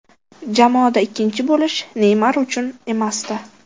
Jamoada ikkinchi bo‘lish Neymar uchun emasdi.